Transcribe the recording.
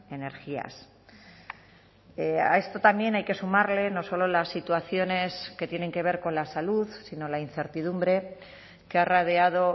energías a esto también hay que sumarle no solo las situaciones que tienen que ver con la salud sino la incertidumbre que ha rodeado